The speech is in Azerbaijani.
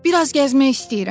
Biraz gəzmək istəyirəm.